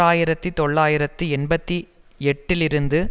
ஆயிரத்தி தொள்ளாயிரத்து எண்பத்தி எட்டில் இருந்து